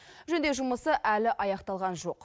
жөндеу жұмысы әлі аяқталған жоқ